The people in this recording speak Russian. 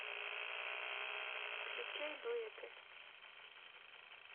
включай дуэты